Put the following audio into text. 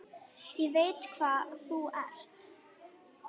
Ég veit hvað þú ert.